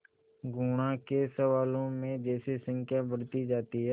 गुणा के सवालों में जैसे संख्या बढ़ती जाती थी